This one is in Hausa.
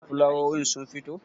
fulawowin sun fito?